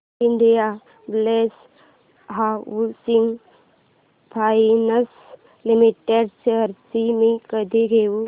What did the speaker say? Indiabulls housing finance limited shares मी कधी घेऊ